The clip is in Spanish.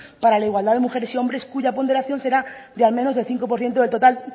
para la igualdad de mujeres y hombres cuya ponderación será de al menos del cinco por ciento del total